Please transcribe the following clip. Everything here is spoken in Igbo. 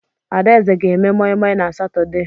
Adaeze ga eme moi moi na Satọde.